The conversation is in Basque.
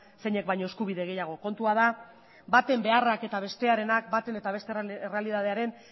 zeinek baino eskubide gehiago kontua da baten beharrak eta bestearenak bata eta bestearen errealitatearen